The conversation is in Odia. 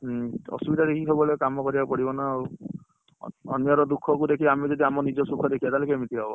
ହୁଁ ଅସୁବିଧା ଦେଖିକି ସବୁବବେଳେ କାମ କରିବାକୁ ପଡିବ ନା ଆଉ ଅନ୍ୟ ର ଦୁଖ କୁ ଦେଖି ଆମେ ଯଦି ଆମ ନିଜ ସୁଖ ଦେଖିବା ତାହେଲେ କେମିତି ହବ